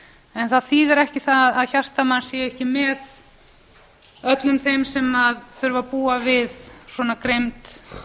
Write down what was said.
en það þýðir ekki það að hjarta manns sé ekki með öllum þeim sem þurfa að búa við svona grimmd